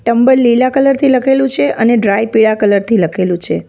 Tumble લીલા કલરથી લખેલું છે અને ડ્રાય પીળા કલરથી લખેલું છે.